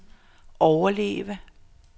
overleve